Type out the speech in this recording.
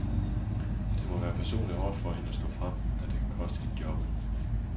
Det må være personligt hårdt for hende at stå frem, da det kan koste hende jobbet.